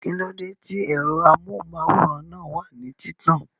Kíló dé tí ẹ̀rọ amóhùnmáwòrán náà wà ní títàn?